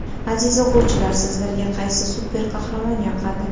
Aziz o‘quvchilar, sizlarga qaysi super-qahramon yoqadi?